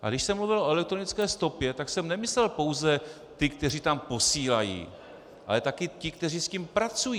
A když jsem mluvil o elektronické stopě, tak jsem nemyslel pouze ty, kteří tam posílají, ale taky ty, kteří s tím pracují.